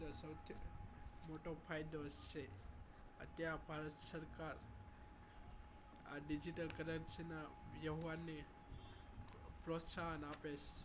મોટો ફાયદો છે અત્યારે ભારત સરકાર આ digital currency ના વ્યવહારને પ્રોત્સાહન આપે છે